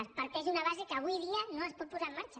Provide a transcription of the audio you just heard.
es parteix d’una base que avui dia no es pot posar en marxa